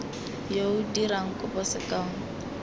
yo o dirang kopo sekao